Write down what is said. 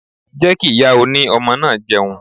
Jẹ́ kí ìyá oní ọmọ náà jẹun.